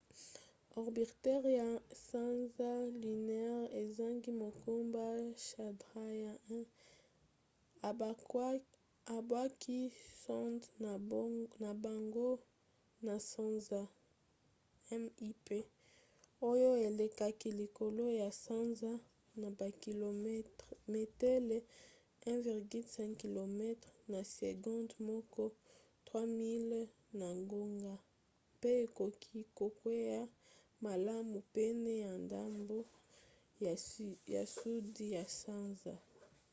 orbiteur ya sanza lunaire ezangi mokumba chandrayaan-1 ebwaki sonde na bango na sanza mip oyo elekaki likolo ya sanza na bakilometele 1,5 km na segonde moko 3000 miles na ngonga mpe ekoki kokwea malamu pene ya ndambo ya sudi ya sanza